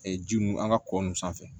ji nunu an ka kɔ ninnu sanfɛ